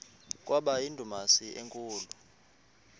kwaba yindumasi enkulu